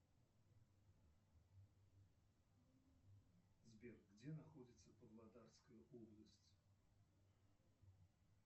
сбер где находится павлодарская область